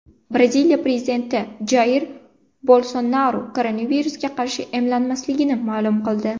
Braziliya prezidenti Jair Bolsonaru koronavirusga qarshi emlanmasligini ma’lum qildi.